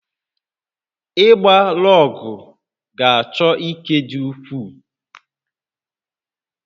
Ịgba lọọgụ̀ ga-achọ ike dị ukwuu